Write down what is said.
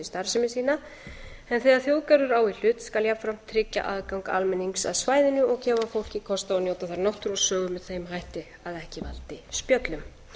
starfsemi sína en þegar þjóðgarður á í hlut skal jafnframt tryggja aðgang almennings að svæðinu og gefa fólki kost á að njóta þar náttúru og sögu með þeim hætti að ekki valdi spjöllum